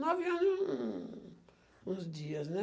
Nove anos e um... uns dias, né?